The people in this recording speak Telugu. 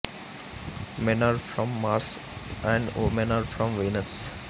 men are from Mars and women are from Venus